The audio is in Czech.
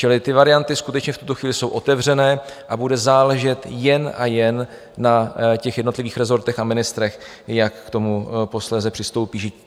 Čili ty varianty skutečně v tuto chvíli jsou otevřené a bude záležet jen a jen na těch jednotlivých rezortech a ministrech, jak k tomu posléze přistoupí.